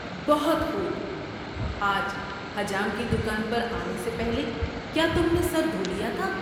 بہت خوب! آج حجام کی دکان پر آنے سے پہلے کیا تم نے سر دھو لیا تھا؟